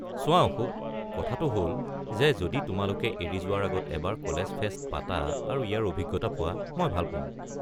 চোৱা অশোক, কথাটো হ'ল যে যদি তোমালোকে এৰি যোৱাৰ আগত এবাৰ কলেজ ফেষ্ট পাতা আৰু ইয়াৰ অভিজ্ঞতা পোৱা, মই ভাল পাম।